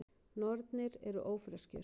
Nornir eru ófreskjur.